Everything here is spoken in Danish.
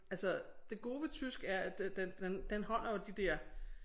Altså det gode ved tysk er at den den den holder jo de der